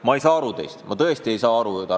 Ma ei saa teist aru, Tarmo!